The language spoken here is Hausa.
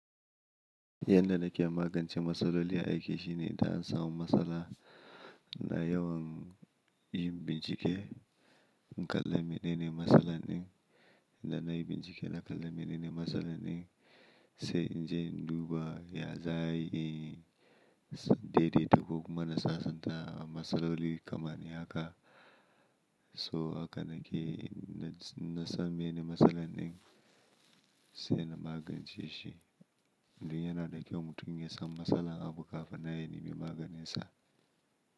Yanda nake magance matsaloli a aiki shine idan an samu matsala ina yawan yin bincike, in kalla menene matsalan din, da na yi bincike na kalla menene matsalan din, sai in je in duba ya za'a yi, dai-dai-da ko kuma na sasanta matsaloli kamar haka. So haka nake, in na san menene matsalan din sai na magance shi. Dun yana da kyau mutum ya san matsalan abu kafin nan ya nemi maganinsa.